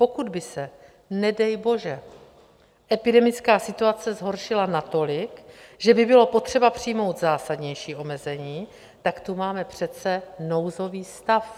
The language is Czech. Pokud by se nedej bože epidemická situace zhoršila natolik, že by bylo potřeba přijmout zásadnější omezení, tak tu máme přece nouzový stav.